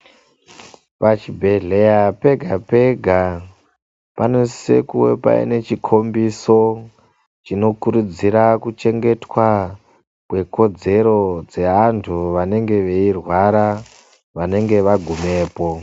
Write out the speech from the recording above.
Pachibhedhlera pega-pega, panosise kuwe paine chikhombiso chinokurudzira kuchengetwa kwekodzero dzeanthu vanenge veirwara, vanenge vagumepo.